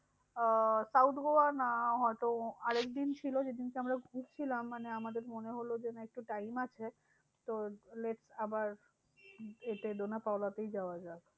আহ south Goa না হয়তো আরেকদিন ছিল যেদিনকে আমরা ঘুরছিলাম আমাদের মনে হলো যে, একটু time আছে, তো late আবার এতে ডোনা পাওলা তেই যাওয়া যাক।